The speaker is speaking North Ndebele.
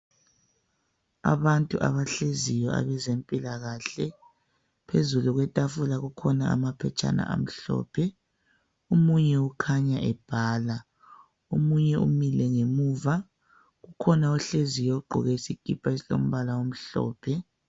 Abantu abahleziyo abezempilakahle. Phezulu kwetafula kukhona amaphetshana amhlophe. Omunye ukhanya ebhala. Omunye umile ngemuva. Kukhona ohleziyo ogqoke isikipa esilombala omhlophe.